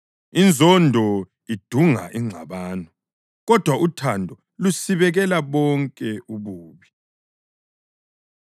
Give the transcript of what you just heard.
Inzondo idunga ingxabano, kodwa uthando lusibekela bonke ububi.